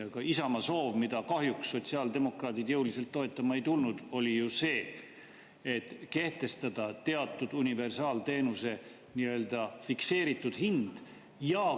Aga Isamaa soov, mida kahjuks sotsiaaldemokraadid jõuliselt toetama ei tulnud, oli ju see, et kehtestada teatud universaalteenuse nii-öelda fikseeritud hind.